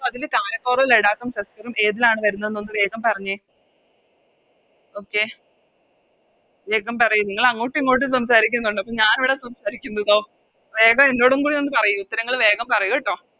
അതിന് കാരഫോറും ലഡാക്കും ഏതിലാണ് വരുന്നെന്ന് ഒന്ന് വേഗം പറഞ്ഞെ Okay വേഗം പറയു നിങ്ങളങ്ങോട്ടും ഇങ്ങോട്ടും സംസാരിക്കുന്നുണ്ട് അപ്പൊ ഞാനിവിടെ സംസാരിക്കുന്നതോ വേഗം എന്നൊടുംകൂടെ ഒന്ന് പറയു ഉത്തരങ്ങൾ വേഗം പറയു ട്ടോ